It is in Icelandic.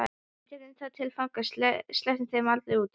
Við tökum þá til fanga. sleppum þeim aldrei út.